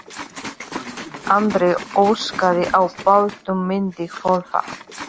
Andri óskaði að bátnum myndi hvolfa.